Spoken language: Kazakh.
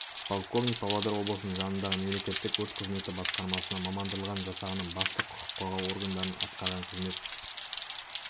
полковник павлодар облысының жанындағы мемлекеттік өрт қызметі басқармасына мамандандырылған жасағының бастығы құқық қорғау органдарындағы атқарған қызмет